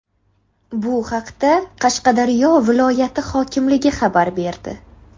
Bu haqda Qashqadaryo viloyati hokimligi xabar berdi .